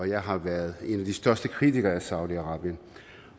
jeg har været en af de største kritikere af saudi arabien